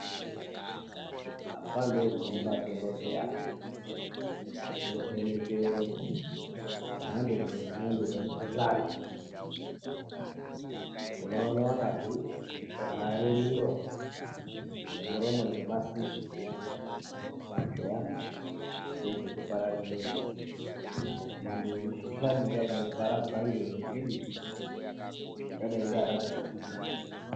Panokhomba madhokodheya anovheneke mhando nemhando dzemikhuhla. Tinoona vakazvivhare miro nemuromo ngemasiki kuedze kudzingwarira mikhuhlani inoparadzirwa ngedutu yakaita seCovid.